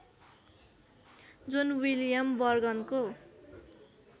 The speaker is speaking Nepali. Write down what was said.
John William बर्गनको